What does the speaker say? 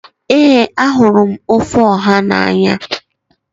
Ee ahụrụ m ofe Oha n'anya.